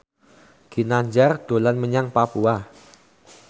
Ginanjar dolan menyang Papua